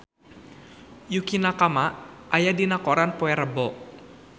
Yukie Nakama aya dina koran poe Rebo